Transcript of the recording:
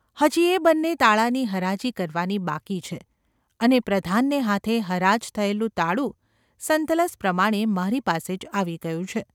હજી એ બન્ને તાળાંની હરાજી કરવાની બાકી છે અને પ્રધાનને હાથે હરાજ થયેલું તાળું સંતલસ પ્રમાણે મારી પાસે જ આવી ગયું છે.